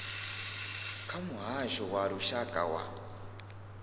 kha muhasho wa lushaka wa